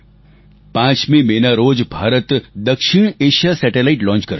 5 મેના રોજ ભારત દક્ષિણએશિયા સેટેલાઇટ લોન્ચ કરશે